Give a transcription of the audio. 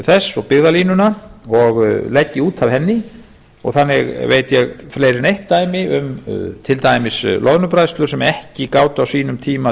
þess og byggðalínuna og legg ég út af henni og þannig veit ég fleiri en eitt dæmi um til dæmis loðnubræðslu sem ekki gátu á sínum tíma